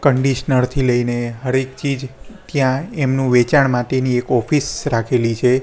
Conditioner થી લેઇને હર એક ચીજ ત્યાં એમનુ વેચાણ માટેની એક ઑફિસ રાખેલી છે.